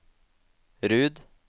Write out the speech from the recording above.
Rud